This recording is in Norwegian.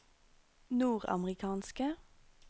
nordamerikanske